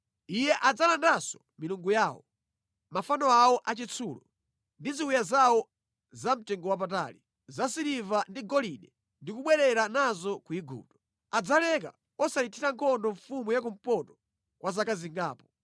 Iye adzalandanso milungu yawo, mafano awo achitsulo, ndi ziwiya zawo zamtengowapatali zasiliva ndi golide ndi kubwerera nazo ku Igupto. Adzaleka osayithira nkhondo mfumu ya kumpoto kwa zaka zingapo.